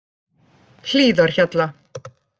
Hlíðarhjalla